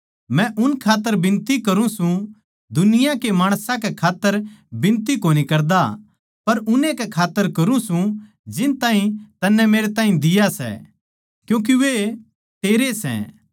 मै उन खात्तर बिनती करूँ सूं दुनिया के माणसां कै खात्तर बिनती कोनी करदा पर उन्नैए कै खात्तर करुँ सूं जिनताहीं तन्नै मेरैताहीं दिया सै क्यूँके वे तेरे सै